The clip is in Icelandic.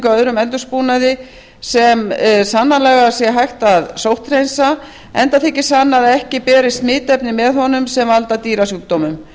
á öðrum eldisbúnaði sem sannanlega sé hægt að sótthreinsa enda þyki sannað að ekki berist smitefni með honum sem valda dýrasjúkdómum